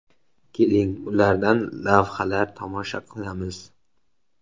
Keling, ulardan lavhalar tomosha qilamiz.